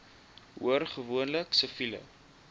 hoor gewoonlik siviele